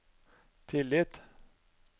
tillit